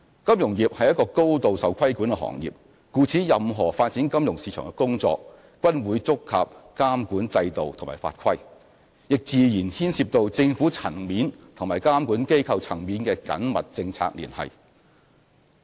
金融業是高度受規管的行業，故此任何發展金融市場的工作，均會觸及監管制度及法規，亦自然牽涉政府層面及監管機構層面的緊密政策聯繫。